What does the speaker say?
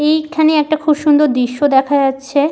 এই খানে একটা খুব সুন্দর দৃশ দেখা যাচ্ছে ।